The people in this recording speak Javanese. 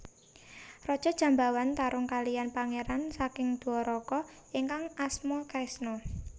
Raja Jambawan tarung kaliyan pangeran saking Dwaraka ingkang asma Kresna